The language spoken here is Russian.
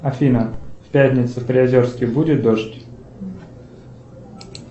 афина в пятницу в приозерске будет дождь